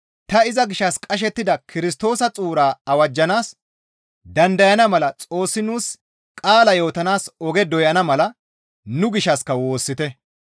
Ta iza gishshas qashettida Kirstoosa xuuraa awajjanaas dandayana mala Xoossi nuus qaala yootanaas oge doyana mala nu gishshassika woossite.